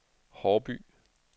Haarby